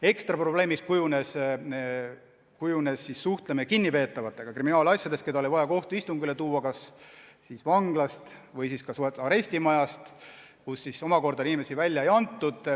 Ekstra probleemiks kujunes kriminaalasjade puhul suhtlemine kinnipeetavatega, kes oli vaja kohtuistungile tuua kas siis vanglast või arestimajast, kust aga inimesi välja ei antud.